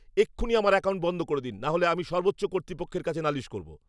এক্ষুণি আমার অ্যাকাউন্ট বন্ধ করে দিন, নাহলে আমি সর্বোচ্চ কর্তৃপক্ষের কাছে নালিশ করবো।